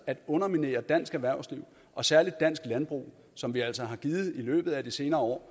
at underminere dansk erhvervsliv og særlig dansk landbrug som vi altså i løbet af de senere år